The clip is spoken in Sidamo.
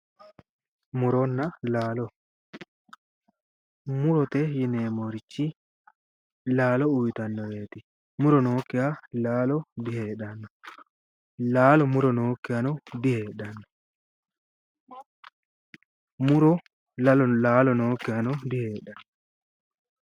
Muronna laalo murote yineemmori lqao uuyiitannoreeti. muro nookkiha laalo diheedhanno. laalo muro nookkihano diheedhanno. muro laalo nookkihano diheedhanno.